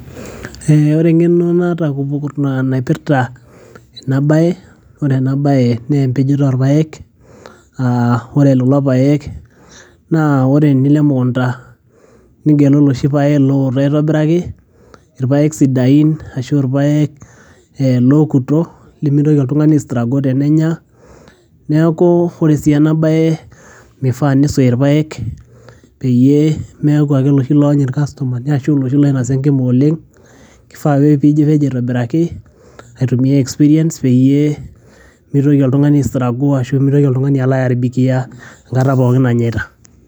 eh, ore eng'eno naata naipirrta ena baye ore ena baye naa empejoto orpayek uh, ore lelo payek naa ore enilo emukunta nigelu iloshi payek looto aitobiraki irpayek sidain ashu irpayek eh lookuto limitoki oltung'ani ae struggle tenenya neeku ore sii ena baye mifaa nisuyi irpayek peyie meeku ake iloshi loony irkastomani ashu iloshi loinosa enkima oleng' kifaa ake piipej aitobiraki aitumia experience peyie mitoki oltung'ani ae struggle ashu mitoki oltung'ani alo ae aribikia enkata pookin nanyaita.